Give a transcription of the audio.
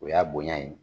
O y'a bonya ye